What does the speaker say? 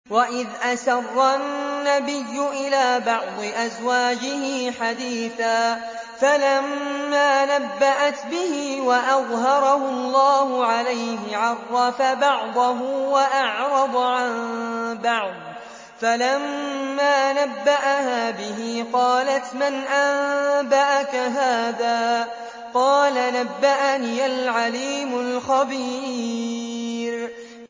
وَإِذْ أَسَرَّ النَّبِيُّ إِلَىٰ بَعْضِ أَزْوَاجِهِ حَدِيثًا فَلَمَّا نَبَّأَتْ بِهِ وَأَظْهَرَهُ اللَّهُ عَلَيْهِ عَرَّفَ بَعْضَهُ وَأَعْرَضَ عَن بَعْضٍ ۖ فَلَمَّا نَبَّأَهَا بِهِ قَالَتْ مَنْ أَنبَأَكَ هَٰذَا ۖ قَالَ نَبَّأَنِيَ الْعَلِيمُ الْخَبِيرُ